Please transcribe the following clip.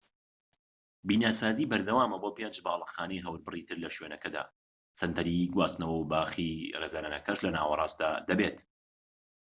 بیناسازی بەردەوامە بۆ پێنج باڵەخانەی هەوربڕی تر لە شوێنەکەدا سەنتەری گواستنەوە و باخی ڕێزلێنانەکەش لە ناوەڕاستدا دەبێت